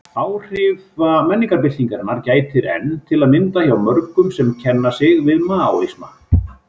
Áhrifa menningarbyltingarinnar gætir enn, til að mynda hjá mörgum sem kenna sig við Maóisma.